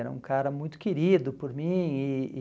Era um cara muito querido por mim e e...